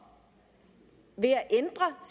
at